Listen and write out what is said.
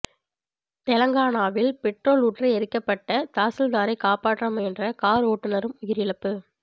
தெலங்கானாவில் பெட்ரோல் ஊற்றி எரிக்கப்பட்ட தாசில்தாரை காப்பாற்ற முயன்ற கார் ஓட்டுநரும் உயிரிழப்பு